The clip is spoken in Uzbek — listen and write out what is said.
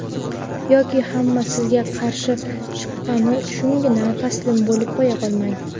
yoki hamma sizga qarshi chiqqani uchungina taslim bo‘lib qo‘ya qolmang.